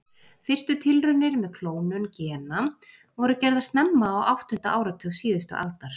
Fyrstu tilraunir með klónun gena voru gerðar snemma á áttunda áratug síðustu aldar.